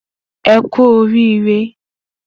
E ku orire